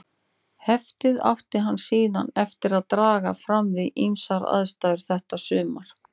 Heftið átti hann síðan eftir að draga fram við ýmsar aðstæður þetta sumar.